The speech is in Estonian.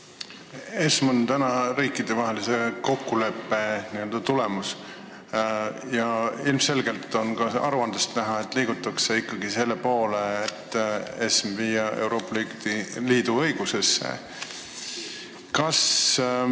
ESM on riikidevahelise kokkuleppe tulemus ja aruandest on ilmselgelt näha, et liigutakse ikkagi selle poole, et lülitada ESM Euroopa Liidu õigusesse.